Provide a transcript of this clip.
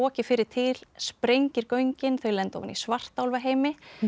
fyrri til sprengir göngin þau lenda ofan í svartálfaheimi